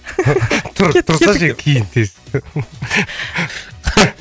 тұр тұрсаңшы енді киін тез